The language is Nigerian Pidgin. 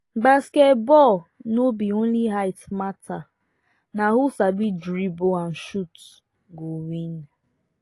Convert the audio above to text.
basketball no be only height matter na who sabi dribble and shoot go win